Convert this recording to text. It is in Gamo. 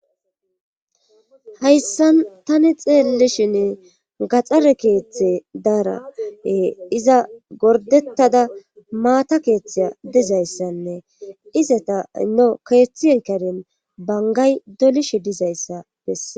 hayssan tani xeellishinne gaxxare keeththe daara iza gordettada maata keeththeya dizayssanne izata hino keeththienkarin bangay dolishe dizayssa bessa